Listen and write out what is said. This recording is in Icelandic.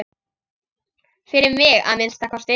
Fyrir mig, að minnsta kosti.